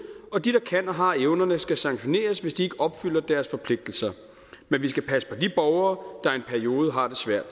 og de der kan og har evnerne skal sanktioneres hvis de ikke opfylder deres forpligtelser men vi skal passe på de borgere der i en periode har det svært